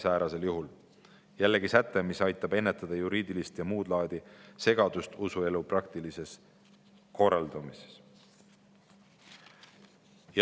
See on jällegi säte, mis aitab ennetada juriidilist ja muud laadi segadust usuelu praktilises korraldamises.